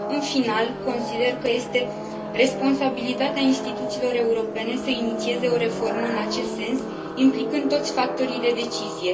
În final, consider că este responsabilitatea instituțiilor europene să inițieze o reformă în acest sens, implicând toți factorii de decizie.